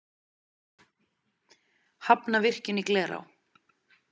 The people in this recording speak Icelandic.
Hafna virkjun í Glerá